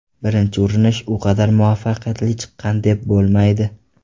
Birinchi urinish u qadar muvaffaqiyatli chiqqan deb bo‘lmaydi.